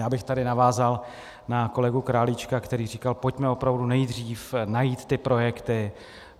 Já bych tady navázal na kolegu Králíčka, který říkal, pojďme opravdu nejdřív najít ty projekty.